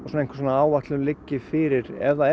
áætlun liggi fyrir ef það